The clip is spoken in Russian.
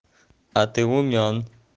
а ты умён